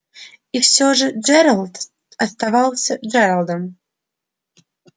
и все же джералд оставался джералдом